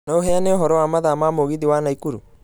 No ũheane ũhoro wa mathaa ma mũgithi wa naikuru